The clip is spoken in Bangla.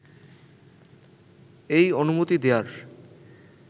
এই অনুমতি দেয়ার